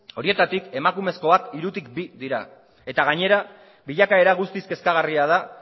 horietatik emakumezkoak hirutik bi dira eta gainera bilakaera guztiz kezkagarria da